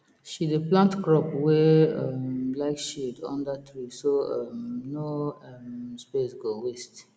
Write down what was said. she dey plant crop wey um like shade under tree so um no um space go waste